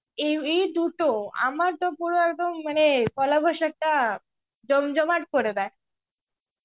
এই দুটো আমার তো পুরো একদম মানে, পয়লা বৈশাখটা জম জমাট করে দেয়.